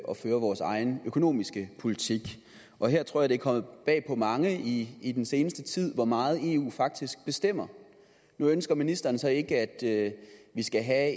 at føre vores egen økonomiske politik og jeg tror at det er kommet bag på mange i i den seneste tid hvor meget eu faktisk bestemmer nu ønsker ministeren så ikke at vi skal have